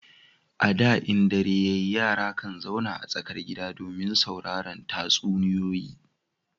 A da in dare yara kan zauna a tsakar gida domin sauraran tatsuniyoyi